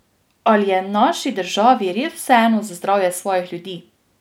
Ali je naši državi res vseeno za zdravje svojih ljudi?